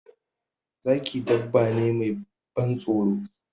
Zaki dabba ne mai ban tsoro.